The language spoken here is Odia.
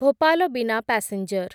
ଭୋପାଲ ବିନା ପାସେଞ୍ଜର